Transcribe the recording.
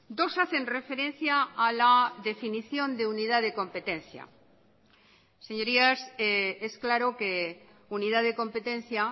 dos hacen referencia a la definición de unidad de competencia señorías es claro que unidad de competencia